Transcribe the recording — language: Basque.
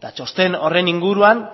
eta txosten horren inguruan